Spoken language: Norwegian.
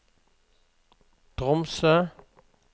Tromsø